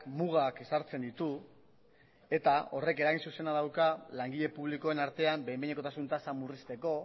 mugak ezartzen ditu eta horrek eragin zuzena dauka langile publikoen artean behin behinekotasun tasa murrizteko